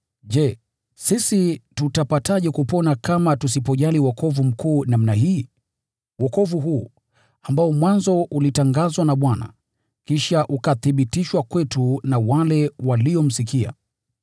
je, sisi tutapaje kupona kama tusipojali wokovu mkuu namna hii? Wokovu huu, ambao mwanzo ulitangazwa na Bwana, ulithibitishwa kwetu na wale waliomsikia.